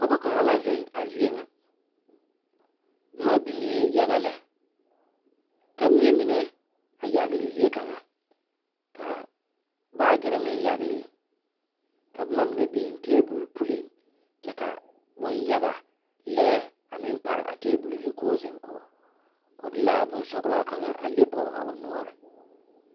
Pɔge kaŋa la zeŋ a zie ŋa boma biŋe yaga lɛ ka miɛ mine a yagle zie kaŋa ka baagyere meŋ yagle ka boma mine meŋ biŋ tabol puli kyɛ ka bon yaga lɛɛ a meŋ pare a tabol zu ko'o zeŋ kɔŋ o de la a bonsɔglaa kaŋa a leŋ poge a o noɔre.